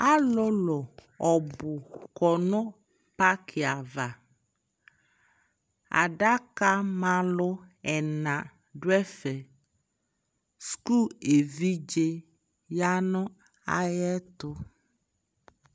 Alulu ɔbu kɔ nu paki avaAdaka ma lu ɛna du ɛfɛSuku ɛvidze ya nu ayɛ tu